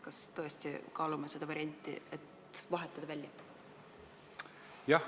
Kas me tõesti kaalume seda varianti, et vahetame välja?